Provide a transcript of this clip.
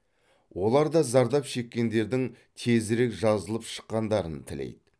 олар да зардап шеккендердің тезірек жазылып шыққандарын тілейді